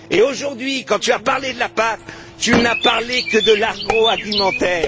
Aujourd'hui, quand tu as parlé de la PAC, tu n'as parlé que de l'agroalimentaire.